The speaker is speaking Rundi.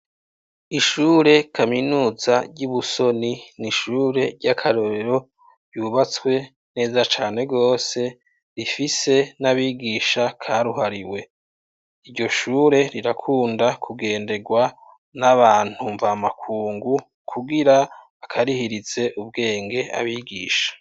Ishure kaminuza ry'i Busoni ni ishure ry'akarorero ryubatswe neza cane rwose rifise n'abigisha karuhariwe. Iryo shure rirakunda kugenderwa n'abantu mvamakungu kugira bakarihirize ubwenge abigisha.